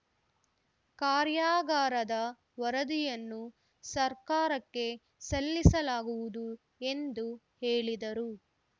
ಕಾರ್ಯಾಗಾರದ ವರದಿಯನ್ನು ಸರ್ಕಾರಕ್ಕೆ ಸಲ್ಲಿಸಲಾಗುವುದು ಎಂದು ಹೇಳಿದರು